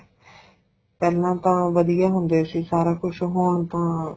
ਪਹਿਲਾਂ ਤਾਂ ਵਧੀਆ ਹੁੰਦੇ ਸੀ ਸਾਰਾ ਕੁੱਝ ਹੁਣ ਤਾਂ